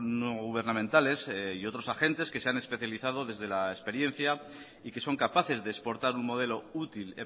no gubernamentales y otros agentes que se han especializado desde la experiencia y que son capaces de exportar un modelo útil